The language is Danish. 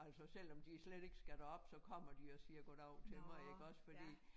Altså selvom de slet ikke skal derop så kommer de og siger goddag til mig iggås fordi